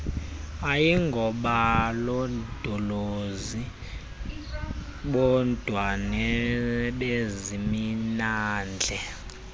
ayingobalondolozi bodwa nabezemimandla